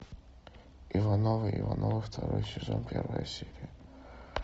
ивановы ивановы второй сезон первая серия